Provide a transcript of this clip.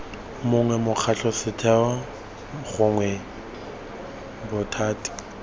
mongwe mokgatlho setheo gongwe bothati